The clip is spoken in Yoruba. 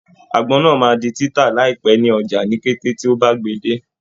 Àgbọn náà máa di títà láìpẹ́ ní ọjà ni kété tí ó bá gbè e dé.